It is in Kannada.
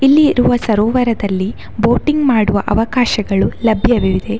ಇಲ್ಲಿ ಇರುವ ಸರೋವರದಲ್ಲಿ ಬೋಟಿಂಗ್‌ ಮಾಡುವ ಅವಕಾಶಗಳು ಲಭ್ಯವಿದೆ.